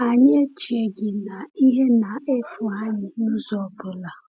Anyị echeghị na ihe na-efu anyị n’ụzọ ọ bụla.